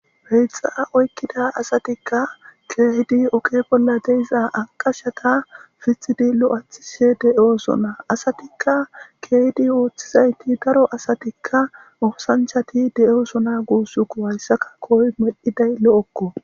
peyxa oykkida asatikka keehidi oke bolla deiza anqashata fitxidi lo7athishe de7osona asatikka keehdi ooththizayti daro asatikka oosanchati de7osona guusuku hayssaka koy meddiday lo7okko